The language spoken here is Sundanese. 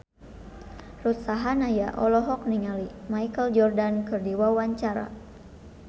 Ruth Sahanaya olohok ningali Michael Jordan keur diwawancara